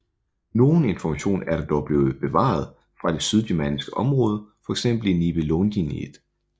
Nogen information er der dog blevet bevaret fra det sydgermanske område fx i Nibelungenlied